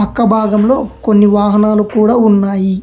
అక్క భాగంలో కొన్ని వాహనాలు కూడా ఉన్నాయి